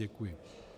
Děkuji.